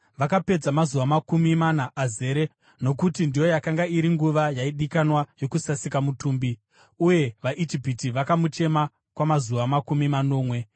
vakapedza mazuva makumi mana azere, nokuti ndiyo yakanga iri nguva yaidikanwa yokusasika mutumbi. Uye vaIjipiti vakamuchema kwamazuva makumi manomwe.